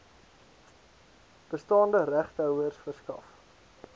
bestaande regtehouers verskaf